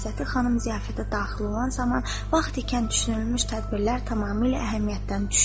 Məsləhəti xanım ziyafətə daxil olan zaman vaxt ikən düşünülmüş tədbirlər tamamilə əhəmiyyətdən düşdü.